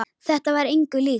Þetta var engu líkt.